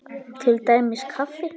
Til dæmis kaffi.